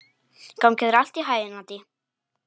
Gangi þér allt í haginn, Addý.